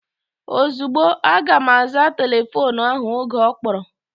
Ozugbo, aga m aza telefoonu ahụ oge ọ kpọrọ